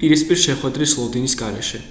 პირისპირ შეხვედრის ლოდინის გარეშე